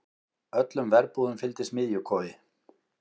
Öllum verbúðum fylgdi smiðjukofi.